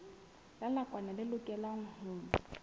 la nakwana le lokelwang ho